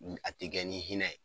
a tɛ kɛ ni hinɛ ye.